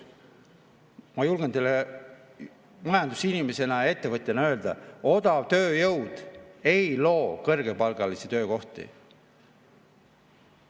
Ma julgen teile majandusinimese ja ettevõtjana öelda, et odavtööjõud ei loo kõrgepalgalisi töökohti.